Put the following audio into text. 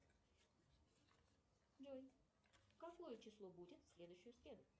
джой какое число будет в следующую среду